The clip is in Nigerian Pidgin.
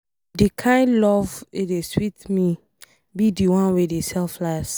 The kin love wey dey sweet me be the one wey dey selfless.